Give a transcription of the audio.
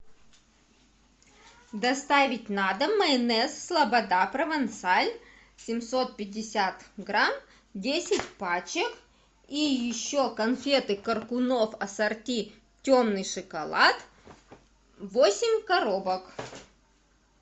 доставить на дом майонез слобода провансаль семьсот пятьдесят грамм десять пачек и еще конфеты коркунов ассорти темный шоколад восемь коробок